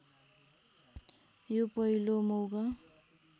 यो पहिलो मौका